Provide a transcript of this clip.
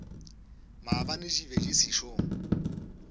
maabane di be di sešo